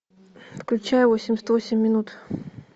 включай восемьдесят восемь минут